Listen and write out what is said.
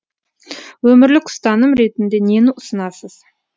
өмірлік ұстаным ретінде нені ұсынасыз